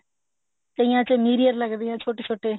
ਕਈਆਂ ਚ mirror ਲੱਗਦੇ ਨੇ ਛੋਟੇ ਛੋਟੇ